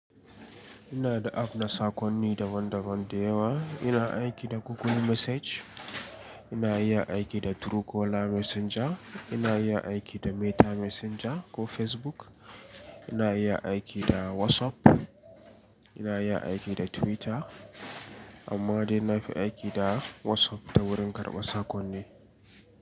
Ina da app na saƙonni daban-daban da yawa. Ina aiki da Google Message, ina iya aiki da Truecaller Messenger, ina iya aiki da Meta Messenger ko Facebook, ina iya aiki da WhatsApp, ina iya aiki da Twitter. Amma dai na fi aiki da WhatsApp ta wurin karɓa saƙonni.